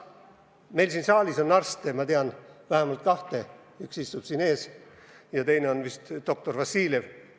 Meil siin saalis on arste, ma tean vähemalt kahte, üks istub siin ees ja teine on vist doktor Vassiljev.